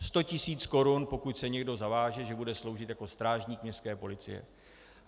Sto tisíc korun, pokud se někdo zaváže, že bude sloužit jako strážník městské policie.